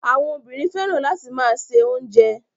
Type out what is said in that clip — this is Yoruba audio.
Àwọn obìnrin fẹ́ràn láti máa se oúnjẹ.